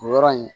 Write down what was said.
O yɔrɔ in